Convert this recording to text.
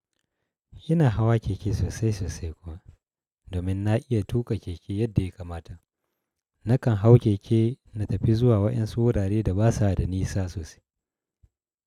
Ina hawa keke sosai sosai kuwa, domin na iya tuƙa keke yadda ya kamata. Nakan hau keke na tafi zuwa waƴansu wurare da ba sa da ni sa sosai.